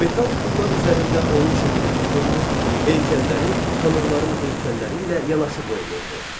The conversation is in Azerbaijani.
Metal pullar üzərində onun şəkli həkk olunur, heykəlləri tanrıların heykəlləri ilə yanaşı qoyulurdu.